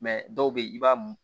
dɔw bɛ ye i b'a mun